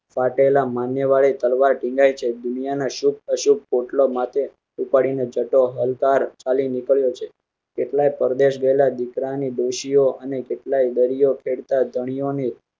ફાટેલા આ માન્ય વાળી તલવાર ટીંગાય છે. દુનિયા ના શુભ અશુભ પોટલો માટે ઉપાડી ને જટો હલકારો ચાલી નીકળ્યો છે. કેટલાય પરદેશ ગયેલા દીકરાની ડોશીઓ અને કેટલાય દરિયો ખેડ તા ધણીયો.